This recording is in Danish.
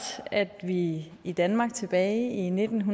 at vi i i danmark tilbage i nitten